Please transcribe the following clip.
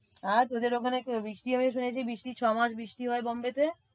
আর তোদের ওখানে বৃষ্টি হবে শুনেছি বৃষ্টি ছয়মাস বৃষ্টি হয় Mumbai তে?